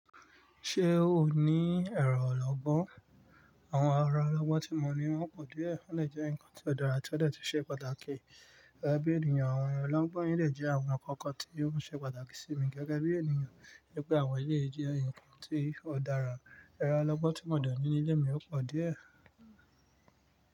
Ṣé o ní ẹrọ ọlọ́gbọ́n? Àwọn ara ọlọ́gbọ́n tí mo ní wọ́n pọ̀ díẹ̀, ó lè jẹ́ ǹkan tí ó dára tí ó dẹ̀ ti ṣe pàtàkì. Gẹ́gẹ́ bí ènìyàn, àwọn yen ẹlẹ́gbọ́n yìí lè jẹ́ àwọn nkan kan tí ó ń ṣe pàtàkì sí mi gẹ́gẹ́ bí ènìyàn wípé àwọn yìí jẹ́ ǹkan tí ó dára. Ẹ̀rọ ọlọ́gbọ́n tí mo de ní ilé mi ò pọ̀ díẹ̀.